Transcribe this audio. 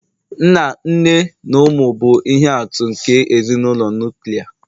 nna, nne na ụmụ bụ ihe atụ nke ezinụlọ nuklia